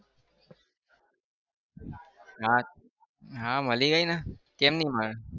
હા હા મળી ગઈને કેમ નહિ મળે?